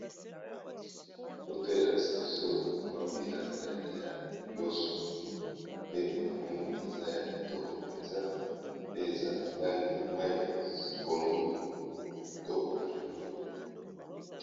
Foto elakisi biso mwa bilanga ya loso pe na moni eza ya kitoko mpenza, pe eza na langi ya mayi ya pondu ya kitoko vraiment.